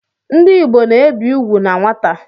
Ndị Igbo na-ebi ugwu na nwata